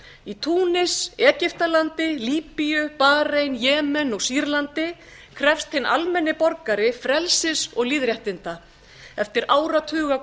í túnis egyptalandi líbíu barein jemen og sýrlandi krefst hinn almenni borgari frelsis og lýðréttinda eftir